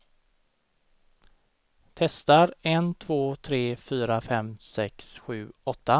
Testar en två tre fyra fem sex sju åtta.